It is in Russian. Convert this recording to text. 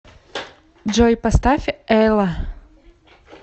джой поставь эла